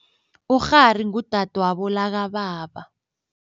Ukghari ngudadwabo lakababa.